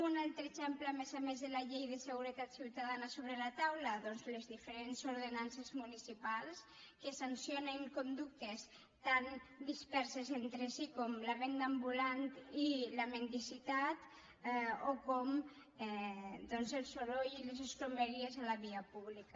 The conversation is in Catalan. un altre exemple a més a més de la llei de seguretat ciutadana sobre la taula doncs les diferents ordenances municipals que sancionen conductes tan disperses entre si com la venda ambulant i la mendicitat o com doncs el soroll i les escombraries a la via pública